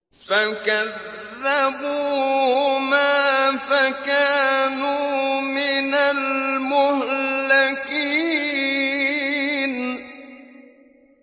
فَكَذَّبُوهُمَا فَكَانُوا مِنَ الْمُهْلَكِينَ